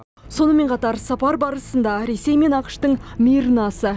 сонымен қатар сапар барысында ресей мен ақш тың мир наса